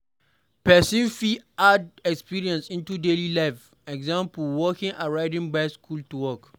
Person fit add exercise into daily life eg, walking or riding bicycle to work